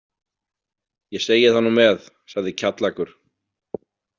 Ég segi það nú með, sagði Kjallakur.